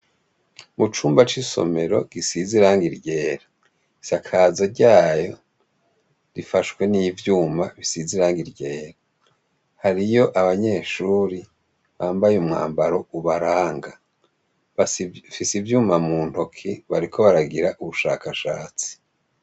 Mucumba c’isomero gisize irangi ryera ishakaza ryayo rifashwe n’ivyuma bisize irangi ryera, hariyo abanyeshure bambaye umwambaro ubaranga bafise ivyuma mu ntoke bariko baragira ubushakashatsi.